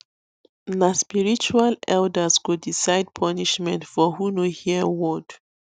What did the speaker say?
na spiritual elders go decide punishment for who no hear word